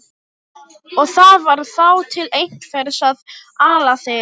Og það var þá til einhvers að ala þig.